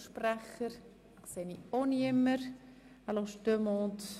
Wünschen Einzelsprecher das Wort?